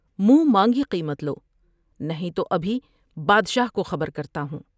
منہ مانگی قیمت کو نہیں تو ابھی بادشاہ کو خبر کرتا ہوں ۔